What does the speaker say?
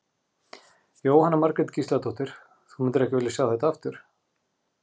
Jóhanna Margrét Gísladóttir: Þú myndir ekki vilja sjá þetta aftur?